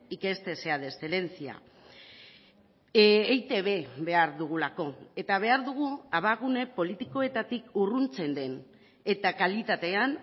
que este sea de excelencia eitb behar dugulako eta behar dugu abagune politikoetatik urruntzen den eta kalitatean